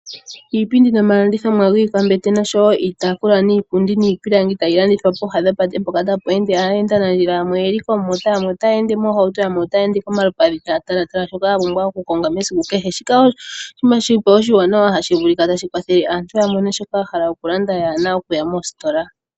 Iipindi nomalandithomwa giikwambete noshowo iitaafula, niipundi ,niipilangi tayi landithwa pooha dhopate mpoka tapu ende aayendanandjila ,yamwe oyeli koomota yamwe otaya ende moohauto ,yamwe otaya ende kolupadhi taya talatala shoka ta pumbwa oku konga mesiku kehe. Shika osho oshinima shilipo oshiwanawa tashi kwathele aantu yamone shoka yahala oku landa kayena okuya moositola